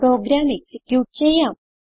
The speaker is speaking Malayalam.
പ്രോഗ്രാം എക്സിക്യൂട്ട് ചെയ്യാം